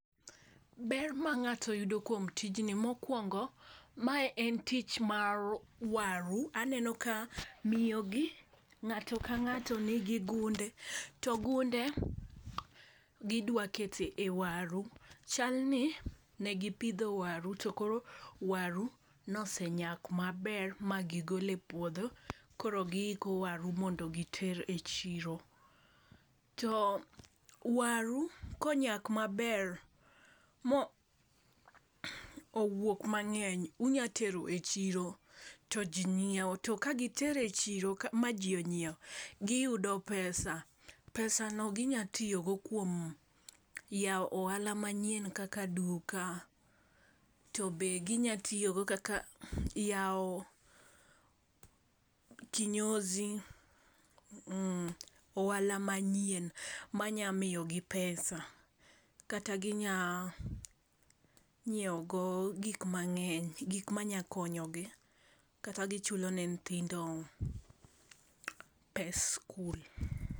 Ber ma ng'ato yudo kuom tijni mokuongo, mae en tich mar waru . Aneno ka miyo gi ng'ato ka ng'ato nigi gunde. To gunde gidwa kete waru, chal ni negi pidho waru to koro waru nosenyak ma gigole puodho. Koro giiko waru mondo giter e chiro, to waru konyak maber mo owuok mangeny inya tero e chiro to jii nyiewo to ka gitero e chiro ma ji onyiewo giyudo pesa. Pesano ginya tiyo go kuom yawo ohala manyiewn kaka duka, to be ginya tiyo go kaka yawo kinyozi ohala manyien manya miyo gi pesa kata ginya nyiwo go gik mangeny gik manya konyogi kata gichulo ne nyithindo pes skul.